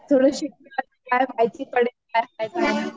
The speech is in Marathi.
थोडं शिकल्याशिवाय माहिती पडत नाही